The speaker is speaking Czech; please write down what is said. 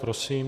Prosím.